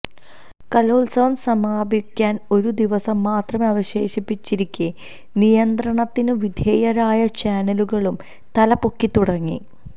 കലോത്സവം സമാപിക്കാൻ ഒരു ദിവസം മാത്രമം അവശേഷിച്ചിരിക്കേ നിയന്ത്രണത്തിന് വിധേയരായ ചാനലുകളും തല പൊക്കി തുടങ്ങി